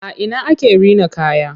A ina ake rina kaya?